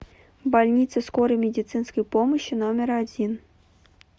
больница скорой медицинской помощи номер один